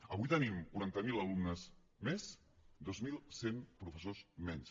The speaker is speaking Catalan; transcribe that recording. avui tenim quaranta miler alumnes més dos mil cent professors menys